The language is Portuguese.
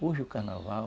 Hoje o carnaval